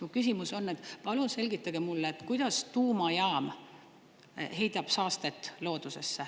Mu küsimus on, et palun selgitage mulle, kuidas tuumajaam heidab saastet loodusesse.